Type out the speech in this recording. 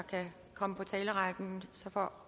komme